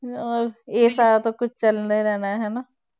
ਹੋਰ ਇਹ ਸਾਰਾ ਤਾਂ ਕੁਛ ਚੱਲਦਾ ਹੀ ਰਹਿਣਾ ਹੈ ਹਨਾ